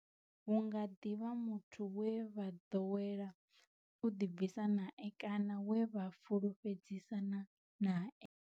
Hu nga ḓi vha muthu we vha ḓowela u ḓibvisa nae kana we vha fhulufhedzisana nae.